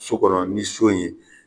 So kɔnɔ ni so in ye